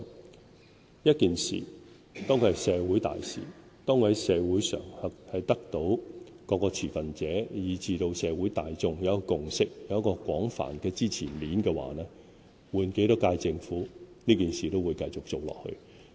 當一件社會大事在社會上得到各持份者以至社會大眾的共識，有廣泛支持面，不論換多少屆政府，這件事都會繼續做下去。